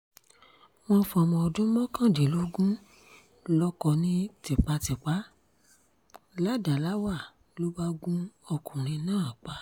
wọ́n fọmọ ọdún mọ́kàndínlógún lóko ní tipátipá ládáláwà ló bá gun ọkùnrin náà pa